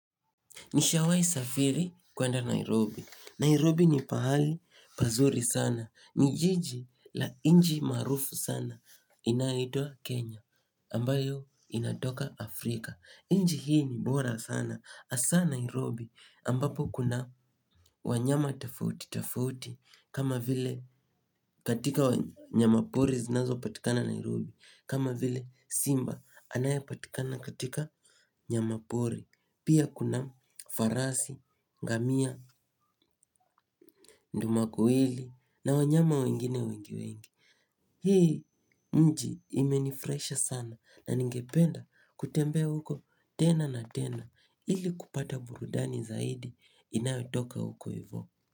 Nishawahi safiri kwenda Nairobi. Nairobi ni pahali pazuri sana. Ni jiji la nchi maarufu sana inayoitwa Kenya ambayo inatoka Afrika. Nchi hii ni bora sana. Hasa Nairobi ambapo kuna wanyama tofauti tofauti kama vile katika wanyama pori zinazopatikana Nairobi kama vile simba anayepatikana katika nyamapori. Pia kuna farasi, ngamia, ndumakuwili na wanyama wengine wengi wengi. Hii nchi imenifurahisha sana na ningependa kutembea huko tena na tena ili kupata burudani zaidi inayotoka huko hivo.